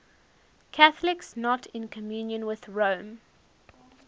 catholics not in communion with rome